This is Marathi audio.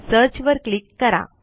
सर्च वर क्लिक करा